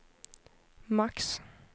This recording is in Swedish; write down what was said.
max